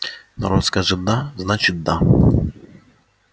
народ скажет да значит да